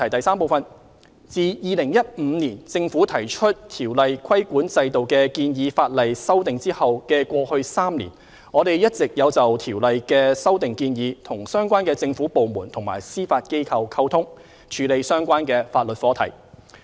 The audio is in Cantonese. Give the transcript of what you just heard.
三自2015年政府提出《條例》規管制度的建議法例修訂後的過去3年，我們一直有就《條例》的修訂建議與相關政府部門和司法機構溝通，處理相關法律課題。